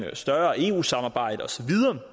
et større eu samarbejde og så videre